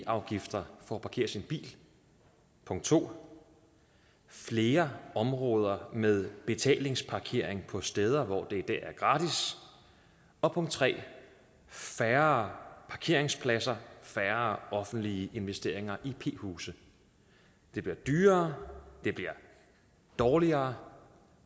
afgifter for at parkere sin bil punkt to flere områder med betalingsparkering på steder hvor det i dag er gratis og punkt tre færre parkeringspladser og færre offentlige investeringer i p huse det bliver dyrere det bliver dårligere